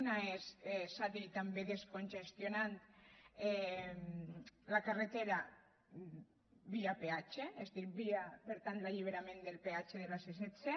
una és s’ha dit també descongestionant la carretera via peatge és a dir via per tant d’alliberament del peatge de la c·setze